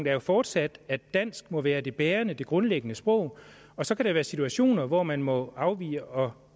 er jo fortsat at dansk må være det bærende det grundlæggende sprog og så kan der være situationer hvor man må afvige og